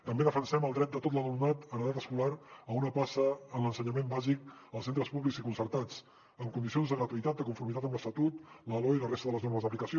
també defensem el dret de tot l’alumnat en edat escolar a una plaça en l’ensenyament bàsic als centres públics i concertats en condicions de gratuïtat de conformitat amb l’estatut la loe i la resta de les normes d’aplicació